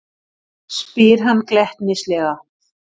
spyr hann glettnislega.